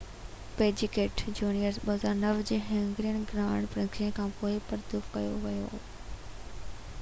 packet junior کي 2009 جي Hungarian grand prix کانپوءِ برطرف ڪيو ويو هو